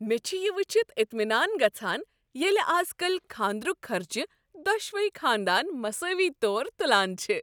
مےٚ چھ یہ وٕچھتھ اطمینان گژھان ییٚلہ از کل کھاندرک خرچہٕ دۄشوٕے خاندان مساوی طور تلان چھ۔